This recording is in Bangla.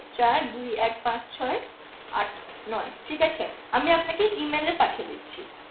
চার দুই এক পাঁচ ছয় আট নয় ঠিক আছে আমি আপনাকে E mail এ পাঠিয়ে দিচ্ছি